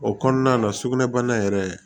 O kɔnɔna la sugunɛ bana yɛrɛ